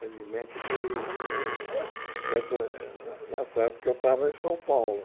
Felizmente foi Uhum nessa é nessa época que eu estava em São Paulo.